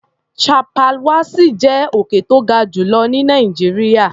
Chappal Wassi jẹ́ òkè tó ga jù lọ ní Nàìjíríà.